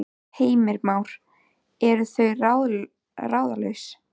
Heimir Már: Eru þau ráðalaus?